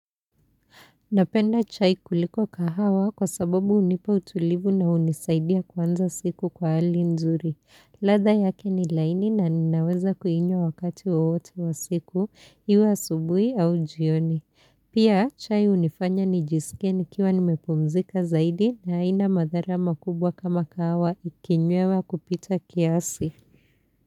Napenda chai kuliko kahawa kwa sababu hunipa utulivu na hunisaidia kuanza siku kwa hali nzuri. Ladha yake ni laini na ninaweza kuinywa wakati wowote wa siku, iwe asubuhi au jioni. Pia chai hunifanya nijisike nikiwa nimepumzika zaidi na haina madhara makubwa kama kahawa ikinywewa kupita kiasi.